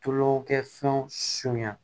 Tulokɛ fɛnw sonya